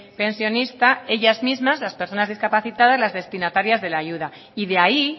pensionista ellas mismas las personas discapacitadas las destinatarias de la ayuda y de ahí